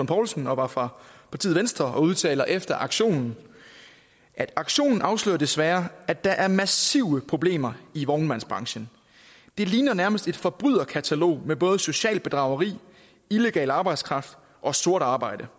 poulsen og var fra partiet venstre og udtalte efter aktionen aktionen afslører desværre at der er massive problemer i vognmandsbranchen det ligner nærmest et forbryderkatalog med både socialt bedrageri illegal arbejdskraft og sort arbejde